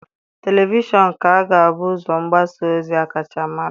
Televishọn ka ga-abụ ụzọ mgbasa ozi a kacha mara.